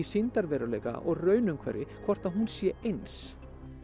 sýndarveruleika og raunumhverfi hvort að hún sé eins